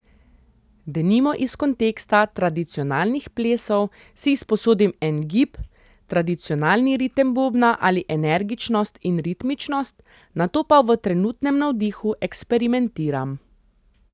Denimo iz konteksta tradicionalnih plesov si izposodim en gib, tradicionalni ritem bobna ali energičnost in ritmičnost, nato pa v trenutnem navdihu eksperimentiram.